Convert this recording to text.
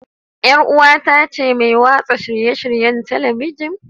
Yar uwata ce mai watsa shirye-shiryen Talabijin.